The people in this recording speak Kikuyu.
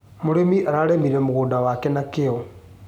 Mũrĩmi ararĩmire mũgũnda wake na kĩo.